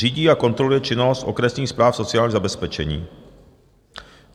řídí a kontroluje činnost okresních správ sociálního zabezpečení,